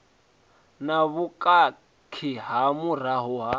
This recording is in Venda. na vhukhakhi nga murahu ha